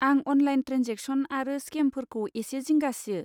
आं online transaction आरो स्केमफोरखौ एसे जिंगा सियो।